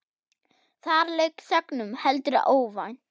Þar lauk sögnum, heldur óvænt.